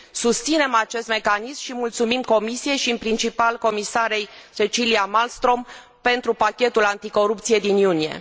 Susținem acest mecanism și mulțumim Comisiei și, în principal, doamnei comisar Cecilia Malmström pentru pachetul anticorupție din iunie.